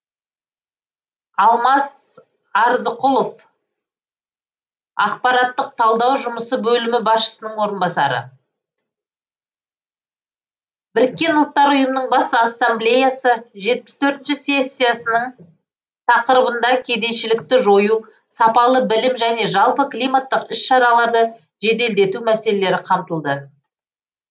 алмас арзықұлов ақпараттық талдау жұмысы бөлімі басшысының орынбасары біріккен ұлттар ұйымының бас ассамблеясы жетпіс төртінші сессиясының тақырыбында кедейшілікті жою сапалы білім және жалпы климаттық іс шараларды жеделдету мәселелері қамтылды